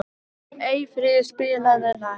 Eyfríður, spilaðu lag.